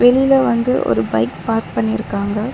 வெளில வந்து ஒரு பைக் பார்க் பண்ணிருக்காங்க.